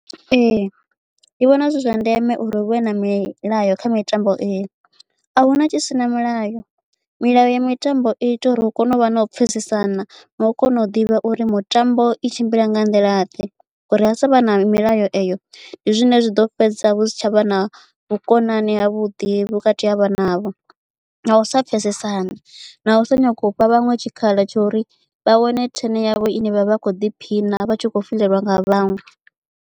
Ee ndi vhona zwi zwa ndeme uri huvhe na milayo kha mitambo ii a huna tshi si na milayo milayo ya mitambo i ita uri hu kone u vha na u pfesesana na u kona u ḓivha uri mutambo i tshimbila nga nḓila ḓe ngauri ha sa vha na milayo eyo ndi zwine zwi ḓo fhedza hu si tshavha na vhukonani havhuḓi vhukati ha vhana avho na u sa pfesesana na u sa nyaga u fha vhaṅwe tshikhala tsha uri vha wane turn yavho ine vha vha kho ḓiphina vha tshi khou fhelelwa nga vhaṅwe.